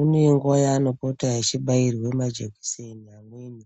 unenguva yaanopota echibairwe majekiseni amweni